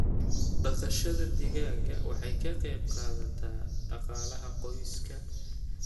Dhaqashada digaaga waxay ka qayb qaadataa dhaqaalaha qoyska.